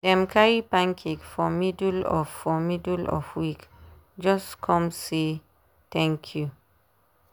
dem carry pancake for middle of for middle of week just come say thank you.